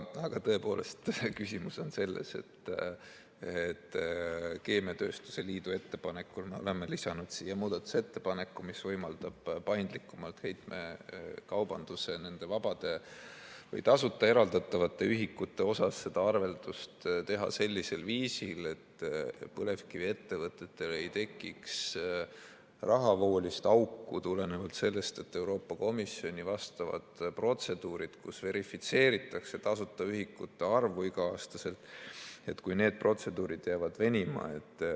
Aga tõepoolest, küsimus on selles, et keemiatööstuse liidu ettepanekul me oleme lisanud siia muudatusettepaneku, mis võimaldab paindlikumalt heitmekaubanduse vabade või tasuta eraldatavate ühikutega arveldust teha sellisel viisil, et põlevkiviettevõtetel ei tekiks rahavoolist auku tulenevalt sellest, kui Euroopa Komisjoni vastavad protseduurid, kus iga-aastaselt verifitseeritakse tasuta ühikute arvu, jäävad venima.